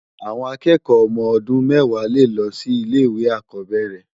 Awòn àkèèkò òmò òdún mèwá lé lo si ile iwé ákòbèrè